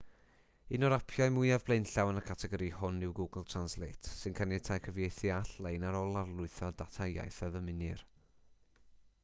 un o'r apiau mwyaf blaenllaw yn y categori hwn yw google translate sy'n caniatáu cyfieithu all-lein ar ôl lawrlwytho'r data iaith a ddymunir